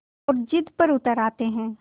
और ज़िद पर उतर आते हैं